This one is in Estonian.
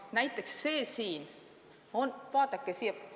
Näiteks vaadake siia!